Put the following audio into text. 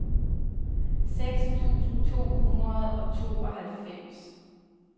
seks tusind to hundrede og tooghalvfems